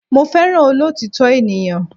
Mo fẹ́ràn olọ́òtítọ́ ènìyàn.